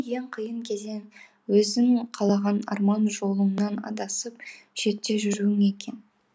ең қиын кезең өзің қалаған арман жолыңнан адасып шетте жүруің екен